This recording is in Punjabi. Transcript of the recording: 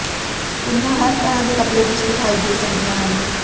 ਕੁੜੀਆਂ ਹਰ ਤਰ੍ਹਾਂ ਦੇ ਕੱਪੜੇ ਵਿੱਚ ਵਿਖਾਈ ਦੇ ਸਕਦੀਆਂ ਹਨ